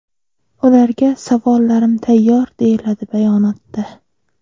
Ularga savollarim tayyor”, deyiladi bayonotda.